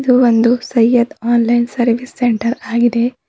ಇದು ಒಂದು Syed online service centre ಆಗಿದೆ.